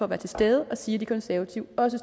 være til stede og sige at de konservative også